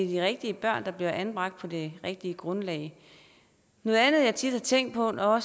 de rigtige børn der bliver anbragt på det rigtige grundlag noget andet jeg tit har tænkt på når